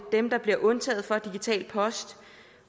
dem der bliver undtaget fra digital post